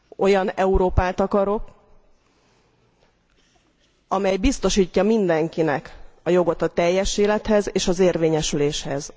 Olyan Európát akarok, amely biztosítja mindenkinek a jogot a teljes élethez és az érvényesüléshez.